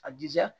A dija